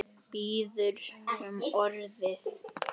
Biður um orðið.